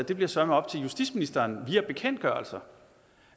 det bliver søreme op til justitsministeren via bekendtgørelser